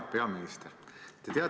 Hea peaminister!